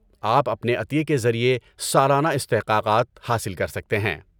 آپ اپنے عطیے کے ذریعے سالانہ استحقاقات حاصل کر سکتے ہیں۔